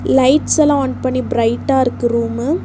Lights எல்லா on பண்ணி பிரைட்டா இருக்கு ரூமு .